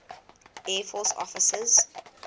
air force officers